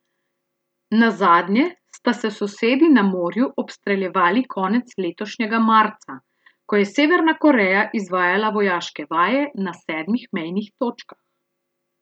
Nazadnje sta se sosedi na morju obstreljevali konec letošnjega marca, ko je Severna Koreja izvajala vojaške vaje na sedmih mejnih točkah.